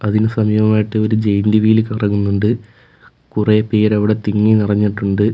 അതിനു സമീപമായിട്ട് ഒരു ജെയിന്റ് വീൽ കറങ്ങുന്നുണ്ട് കുറെ പേർ അവിടെ തിങ്ങി നിറഞ്ഞിട്ടുണ്ട്.